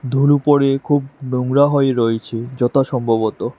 ধুলো পরে খুব নোংরা হয়ে রয়েছে যত সম্ভবত।